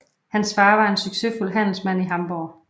Hans far var en succesfuld handelsmand i Hamburg